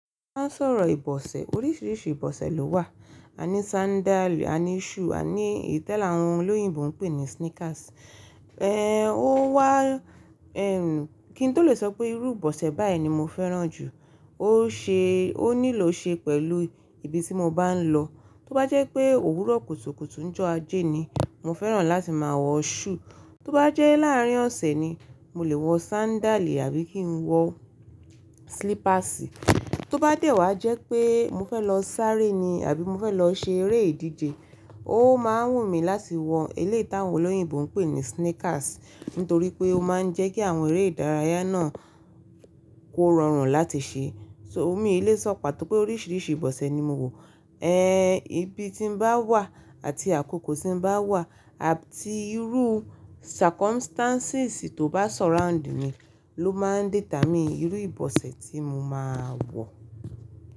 Má sọ̀rọ̀ ìbọ̀sẹ̀, oríṣiríṣi ìbọ̀sẹ̀ ló wà. A ní sandáliì, a ní shoe, a ní ìtẹ́le áwọn olóyìnbo ń pè ní sneakers. Ẹ̀, ó wá, ẹ̀m, kí n tó lè sọ pé irú ìbọ̀sẹ̀ báyìí ni mo fẹ́ràn jù, ó ṣe, ó nílò ṣe pẹ̀lú ibi tí mo bá ń lọ. Tó bá jẹ́ pé òwúrọ̀ kùtùkùtù ń jọ ajé ni, mo fẹ́ràn láti máa wọ shoe. Tó bá jẹ́ láàárín ọ̀sẹ̀ ni, mo lè wọ sandáliì àbí kí n wọ slippersi. Tó bá dé wá jẹ́ pé mo fẹ́ lọ sáré ni àbí mo fẹ́ lọ ṣe eré ìdíje, ó máa ń wù mí láti wọ eléyi tàwọn olóyìnbo ń pè ní sneakers, nítorí pé ó máa ń jẹ́ kí àwọn eré ìdárayá náà kó rọrùn láti ṣe. So, mí ì lé sọ̀ pátó pé oríṣiríṣi ìbọ̀sẹ̀ ni mo wò. Ẹ́, ibi tí n bá wà àti àkókò tí n bá wà àti irú circumstances tó bá surround mi ló máa ń determine irú ìbọ̀sẹ̀ tí mo máa wọ̀